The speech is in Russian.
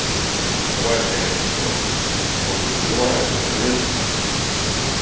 бывает конечно что может и взрывает но это редкость